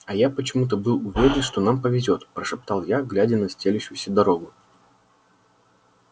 а я почему-то был уверен что нам повезёт прошептал я глядя на стелющуюся дорогу